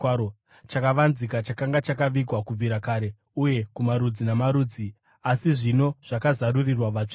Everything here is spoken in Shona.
chakavanzika chakanga chakavigwa kubvira kare uye kumarudzi namarudzi, asi zvino zvakazarurirwa vatsvene.